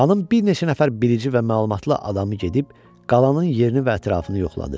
Xanım bir neçə nəfər bilici və məlumatlı adamı gedib qalanın yerini və ətrafını yoxladı.